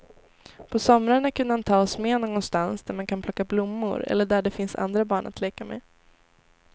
På somrarna kunde han ta med oss någonstans där man kan plocka blommor eller där det finns andra barn att leka med.